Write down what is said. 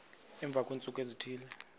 emva kweentsuku ezithile